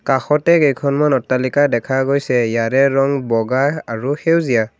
কাষতে কেইখনমান অট্টালিকা দেখা গৈছে ইয়াৰে ৰং বগা আৰু সেউজীয়া।